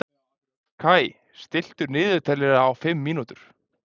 Kai, stilltu niðurteljara á fimm mínútur.